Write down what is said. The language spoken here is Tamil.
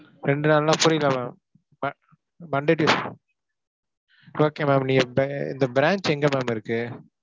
இரண்டு நாள்னா புரியல ma'am, ma~ Monday, Tuesday, okay ma'am இந்த branch எங்க ma'am இருக்கு?